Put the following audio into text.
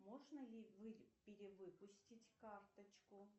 можно ли перевыпустить карточку